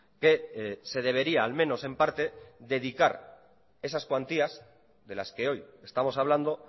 que se debería al menos en parte dedicar esas cuantías de las que hoy estamos hablando